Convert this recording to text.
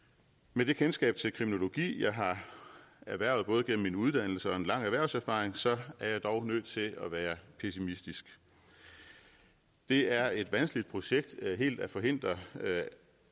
med det kendskab til kriminologi jeg har erhvervet både gennem min uddannelse og en lang erhvervserfaring så er jeg dog nødt til at være pessimistisk det er et vanskeligt projekt helt at forhindre